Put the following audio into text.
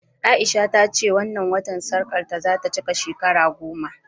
A'isha ta ce a wannan watan sarƙarta za ta cika shekara goma